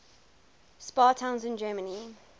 spa towns in germany